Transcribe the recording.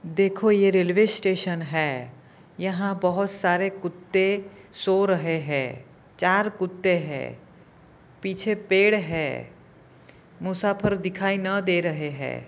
देखो ये railway station है यहाँ बहुत सारे कुत्ते सो रहे है चार कुत्ते है पीछे पेड़ है मुसाफिर दिखाई न दे रहे है।